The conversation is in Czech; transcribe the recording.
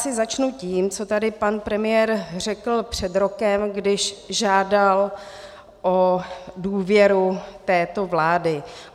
Asi začnu tím, co tady pan premiér řekl před rokem, když žádal o důvěru této vlády.